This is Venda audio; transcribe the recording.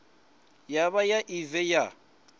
ya vha ya evee ya